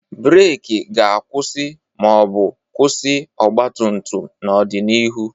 Breeki ga-akwụsị ma ọ bụ kwụsị ọgba tum tum n'ọdịnihu.